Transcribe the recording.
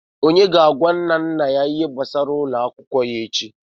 Onye ga-agwa nwanna nna ya ihe gbasara ego ụlọ akwụkwọ ya echi?